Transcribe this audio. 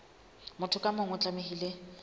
motho ka mong o tlamehile